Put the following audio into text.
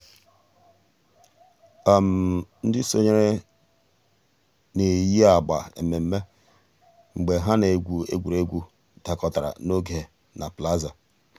ǹdí sọǹyèrè nà-èyi àgbà emèmé́ mgbè hà nà-ègwù ègwè́ré́gwụ̀ dàkọ̀tàrà n'ògè nà plaza.